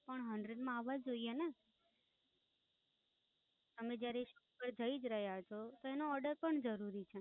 પણ Hundred માં આવવા જોઈએ ને? તમે જયારે સફળ થઇ જ રહ્યા છો તો એનો order પણ જરૂરી છે.